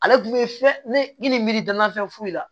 Ale tun bɛ filɛ ne ni n miiri danna fɛn foyi la